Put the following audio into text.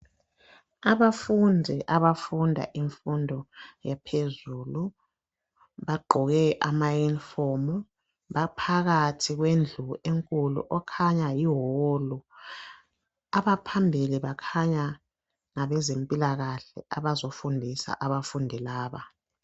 Abafundi abafunda imfundo yaphezulu bagqoke amayunifomu baphakathi kwendlu enkulu okhanya yiwolu abaphambili bakhanya ngabezempilakahle abazofundisa abafundi laba.